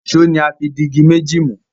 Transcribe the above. Èṣó ní a fí dì ìgi méjì mú.